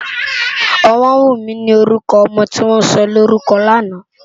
Omowunmi ni órùkò òmò tiwòn sòlórúkò làná